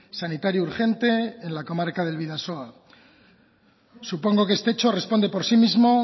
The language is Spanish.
sanitario urgente en la comarca del bidasoa supongo que este hecho responde por sí mismo